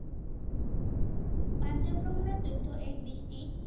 পাঞ্জাৱ ভ্ৰমণৰ তথ্য এক দৃষ্টি